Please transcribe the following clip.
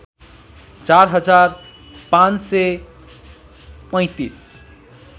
४ हजार ५३५